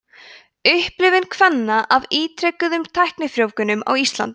upplifun kvenna af ítrekuðum tæknifrjóvgunum á íslandi